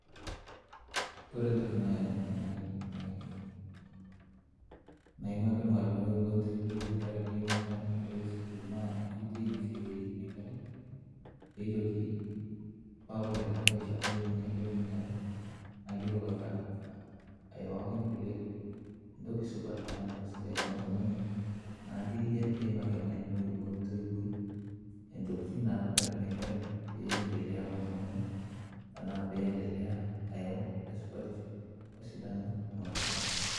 Kore ntoki nai nai nai naimaki lmaalimoi ontowoi ntakare ake imita enkarai eskul naa enkoitoi naisaidiarieki inia kerai peeitoki, paa kore tekae rishata enye nailep ninye alo, naa keitoki ake aayeu ake nkule ntoki supat tana ntoki sidai temasomo enye. Naa keiyari peimaki lmaalimoi ontowoi entokitin napikaki inia kerai peendelea omasomo enye tanaa peendelea ayau esupatisho osidano temasomo enye.